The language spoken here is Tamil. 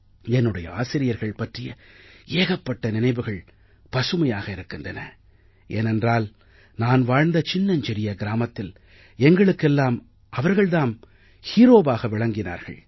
என்னுடைய ஆசிரியர்கள் பற்றிய ஏகப்பட்ட நினைவுகள் பசுமையாக இருக்கின்றன ஏனென்றால் நான் வாழ்ந்த சின்னஞ்சிறிய கிராமத்தில் எங்களுக்கெல்லாம் அவர்கள் தாம் ஹீரோவாக விளங்கினார்கள்